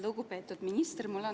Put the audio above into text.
Lugupeetud minister!